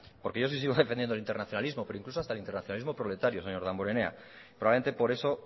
porque yo sí sigo defendiendo el internacionalismo pero incluso hasta el internacionalismo proletario señor damborenea probablemente por eso